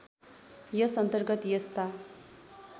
यस अन्तर्गत यस्ता